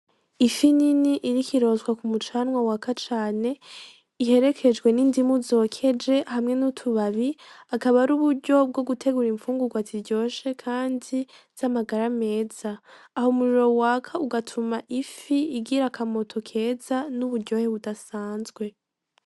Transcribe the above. Ifi nini iriko irotswa k'umucanwa waka cane, iherekejwe n'indimu zokeje hamwe n'utubabi, akaba ari uburyo bwo gutegura infungurwa ziryoshe Kandi z'amagara meza, aho umuriro waka ugatuma ifi igira akamoto keza n'uburyohe budasanzwe.